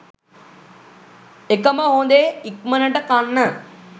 එකම හොඳේ ඉක්මනට කන්න